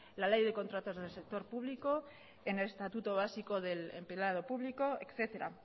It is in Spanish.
la ley de contratos del sector público en el estatuto básico del empleado público etcétera